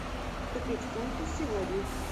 купить фунты сегодня